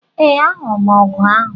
Ee, ahụrụ m ọgụ ahụ